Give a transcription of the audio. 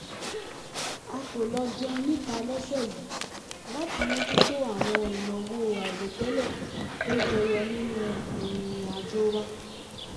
a kò lọ jẹun níta lọ́sẹ̀ yìí láti mójútó àwọn ìnáwó àìròtẹ́lẹ̀ tó jẹyọ nínú ìrìn-àjò wa